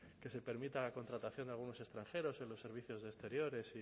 que se permita la contratación de algunos extranjeros en los servicios de exteriores